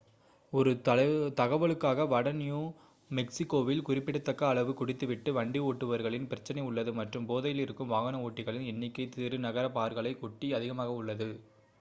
ஒரு 1 தகவலுக்காக வட நியூ மெக்ஸிகோவில் குறிப்பிடத்தக்க அளவு குடித்து விட்டு வண்டி ஓட்டுபவர்களின் பிரச்சினை உள்ளது மற்றும் போதையிலிருக்கும் வாகன ஓட்டிகளின் எண்ணிக்கை சிறு நகர பார்களை ஒட்டி அதிகமாக உள்ளது